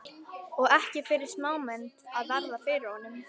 Og ekki fyrir smámenni að verða fyrir honum!